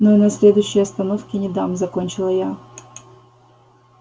но и на следующей остановке не дам закончила я